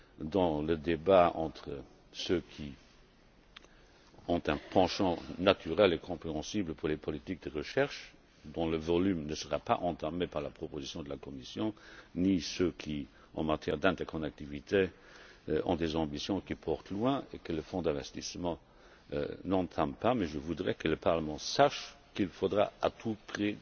dans le débat, entre ceux qui ont un penchant naturel et compréhensible pour les politiques de recherche, dont le volume ne sera pas entamé par la proposition de la Commission, et ceux qui, en matière d'interconnectivité, ont des ambitions qui portent loin, et que le fonds n'entame pas non plus. Je voudrais néanmoins que le Parlement sache qu'il faudra trouver à tout